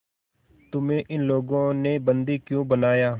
तुम्हें इन लोगों ने बंदी क्यों बनाया